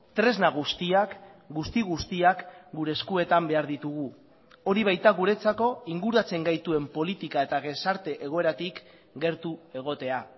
tresna guztiak guzti guztiak gure eskuetan behar ditugu hori baita guretzako inguratzen gaituen politika eta gizarte egoeratik gertu egotea